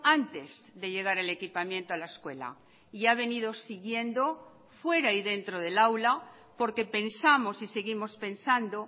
antes de llegar el equipamiento a la escuela y ha venido siguiendo fuera y dentro del aula porque pensamos y seguimos pensando